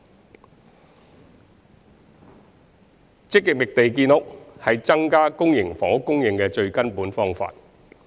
三積極覓地建屋是增加公營房屋供應的最根本方法。